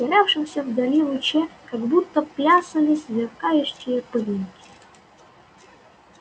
в терявшемся вдали луче как будто плясали сверкающие пылинки